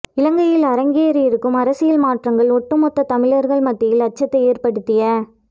இலங்கையில் அரங்கேறியிருக்கும் அரசியல் மாற்றங்கள் ஒட்டுமொத்த தமிழர்கள் மத்தியில் அச்சத்தை ஏற்படுத்திய